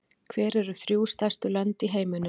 Hver eru þrjú stærstu lönd í heiminum í röð?